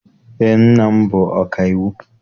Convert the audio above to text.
Eé, nna m bụ ọkaiwu.